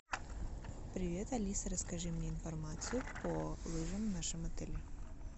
привет алиса расскажи мне информацию по лыжам в нашем отеле